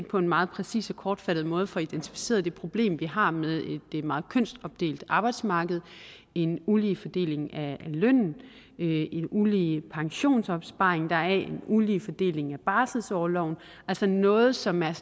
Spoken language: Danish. på en meget præcis og kortfattet måde får identificeret det problem vi har med et meget kønsopdelt arbejdsmarked en ulige fordeling af lønnen en ulige pensionsopsparing en ulige fordeling af barselsorloven altså noget som er